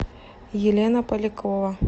елена полякова